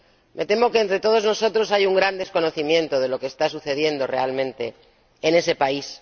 Me temo que, entre todos nosotros, hay un gran desconocimiento de lo que está sucediendo realmente en ese país.